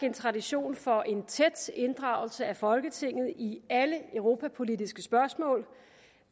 en tradition for en tæt inddragelse af folketinget i alle europapolitiske spørgsmål